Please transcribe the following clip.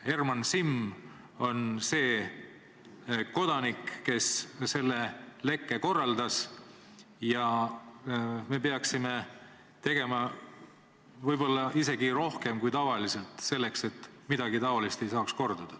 Tema on see kodanik, kes selle lekke korraldas, ja me peaksime tegema võib-olla isegi rohkem kui tavaliselt, et midagi niisugust ei saaks korduda.